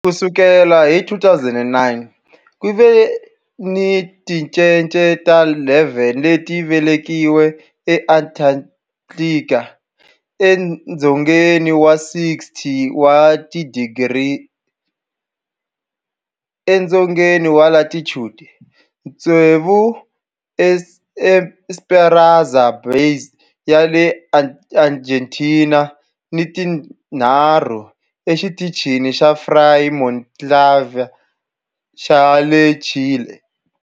Ku sukela hi 2009, ku ve ni tincece ta 11 leti velekiweke eAntarctica, edzongeni wa 60 wa tidigri edzongeni wa latitude, tsevu eEsperanza Base ya le Argentina ni tinharhu eXitichini xa Frei Montalva xa le Chile.